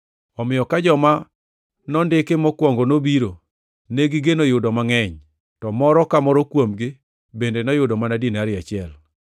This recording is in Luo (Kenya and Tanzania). Omiyo ka joma nondiki mokwongo nobiro, negigeno yudo mangʼeny. To moro ka moro kuomgi bende noyudo mana dinari achiel.